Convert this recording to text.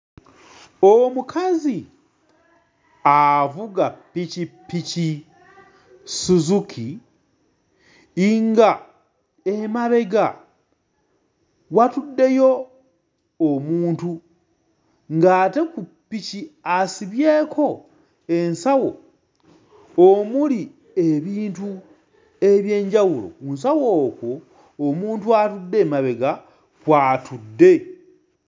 Omukazi avuga ppikippiki Suzuki nga emabega watuddeyo omuntu ng'ate ku ppiki asibyeko ensawo omuli ebintu eby'enjawulo. Ku nsawo okwo omuntu atudde emabega kw'atudde.